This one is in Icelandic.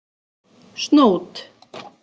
Snót